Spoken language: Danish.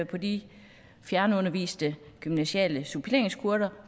på de fjernunderviste gymnasiale suppleringskurser